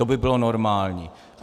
To by bylo normální.